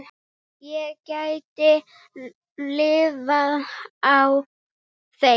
Ég gæti lifað á þeim.